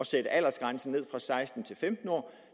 sat aldersgrænsen ned fra seksten til femten år